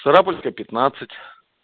сарапульская пятнадцать